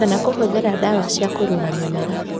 Kana kũhũthĩra ndawa cia kũrũra mĩmera